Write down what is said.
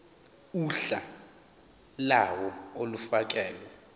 uhla lawo olufakelwe